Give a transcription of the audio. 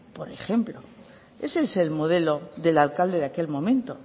por ejemplo ese el modelo del alcalde de aquel momento